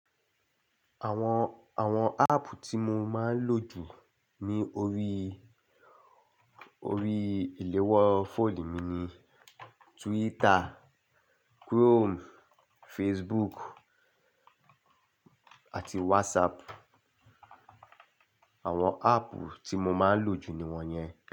Àwọn, àwọn áàpù tí mo máa ń lò jù ní orí, orí ìléwọ́ fóònù mi ni Twitter, Chrome, Facebook àti WhatsApp. Àwọn áàpù tí mo máa ń lò jù ni wọ́n yẹn.